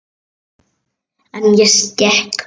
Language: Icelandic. En ég skek mig.